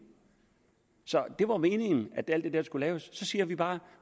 så det var jo meningen at alt det der skulle laves og så siger vi bare